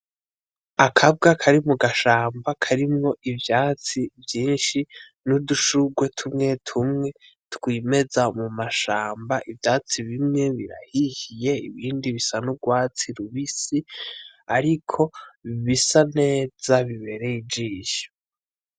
Akabwa kari mu gashamba karimwo ivyatsi vyinshi n'udushurwe tumwetumwe twimeza mu mashamba, ivyatsi bimwe birahishiye ibindi bisa n'urwatsi rubisi ariko bisa neza bibereye ijisho.